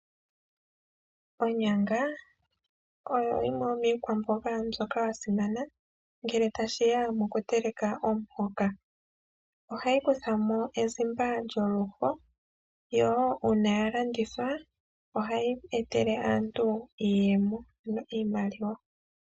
Onyanga oyo yimwe yo miikwamboga mbyono ya simana ngele ta shiya moku teleka omuhoka. Ohayi kutha mo ezimba lyoluho, yo woo uuna ya landithwa ohayi etele aantu iiyemo ano iimaliwa.